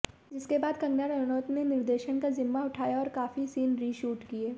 जिसके बाद कंगना रनौत ने निर्देशन का जिम्मा उठाया और काफी सीन रीशूट किये